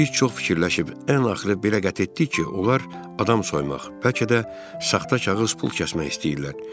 Biz çox fikirləşib, ən axırı bəyər qət etdik ki, onlar adam soymaq, bəlkə də saxta kağız pul kəsmək istəyirlər.